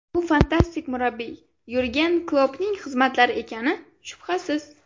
Bu fantastik murabbiy Yurgen Kloppning xizmatlari ekani, shubhasiz.